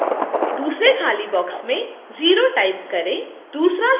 दूसरे खाली box में 0 type करें